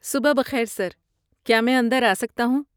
صبح بخیر سر، کیا میں اندر آ سکتا ہوں؟